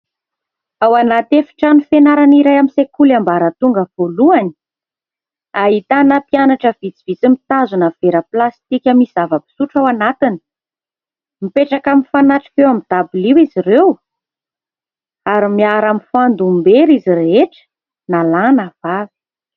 Ao anaty efitrano fianarana iray amin'ny sekoly ambaratonga voalohany, ahitana mpianatra vitsivitsy mitazona vera plastika misy zava-pisotra ao anatiny. Mipetraka mifanatrika eo amin'ny dabilio izy ireo ary miara-mifandom-bera izy rehetra na lahy na vavy.